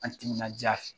An timinandiya